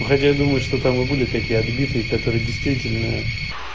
хотя я думаю что там и были такие отбитые которые действительно